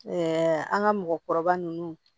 an ka mɔgɔkɔrɔba ninnu